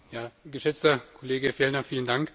Geschätzter Kollege Fjellner, vielen Dank!